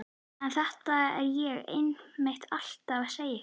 En þetta er ég einmitt alltaf að segja ykkur.